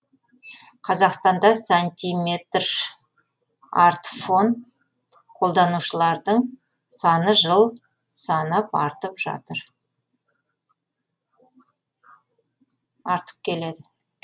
қазақстанда сантиметрартфон қолданушылардың саны жыл санап артып келеді